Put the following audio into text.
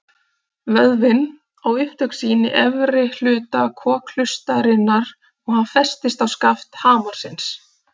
Vöðvinn á upptök sín í efri hluta kokhlustarinnar og hann festist á skaft hamarsins.